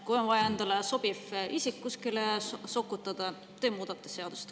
Kui on vaja endale sobiv isik kuskile sokutada, siis te muudate seadust.